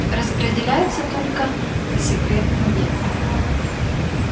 распределяется только по секретным объектам